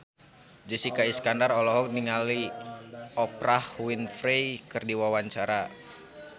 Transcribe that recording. Jessica Iskandar olohok ningali Oprah Winfrey keur diwawancara